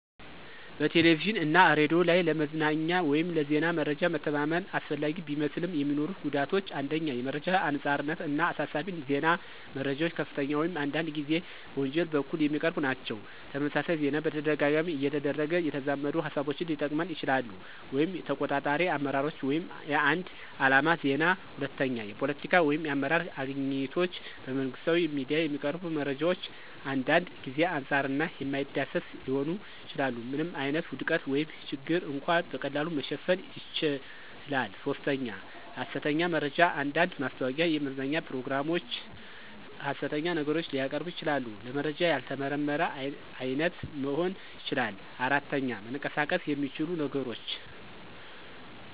በቴሌቪዥን እና ሬዲዮ ላይ ለመዝናኛ ወይም ለዜና መረጃ መተማመን አስፈላጊ ቢመስልም፣ የሚኖሩት ጉዳቶች 1. የመረጃ አንጻርነት እና አሳሳቢ ዜና - መረጃዎች ከፍተኛ ወይም አንዳንድ ጊዜ በወንጀል በኩል የሚቀርቡ ናቸው። - ተመሳሳይ ዜና በተደጋጋሚ እየተደረገ የተዛመዱ ሃሳቦችን ሊጠቅመን ይችላሉ (ተቆጣጣሪ አመራሮች ወይም የአንድ ዓላማ ዜና)። 2. የፖለቲካ ወይም የአመራር አግኝቶች - በመንግሥታዊ ሚዲያ የሚቀርቡ መረጃዎች አንዳንድ ጊዜ አንጻር እና የማይዳሰስ ሊሆኑ ይችላሉ። ምንም ዓይነት ውድቀት ወይም ችግር እንኳ በቀላሉ መሸፈን ይችላል። 3. ሐሰተኛ መረጃ አንዳንድ ማስታወቂያ፣ የመዝናኛ ፕሮግራሞች ሐሰት ነገሮችን ሊያቀርቡ ይችላሉ። - ለመረጃ ያልተመረመረ አይነት መሆን ይችላል። 4. መንቀሳቀስ የሚችሉ ነገሮች